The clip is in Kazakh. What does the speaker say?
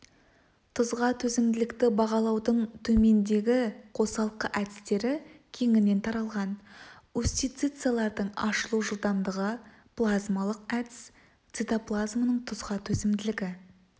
тұзға төзімділікті бағалаудың төмендегі қосалқы әдістері кеңінен таралған устьицалардың ашылу жылдамдығы плазмоликалық әдіс цитоплазманың тұзға төзімділігі